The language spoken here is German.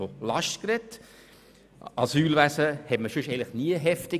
Auf einmal ist von einer Last die Rede.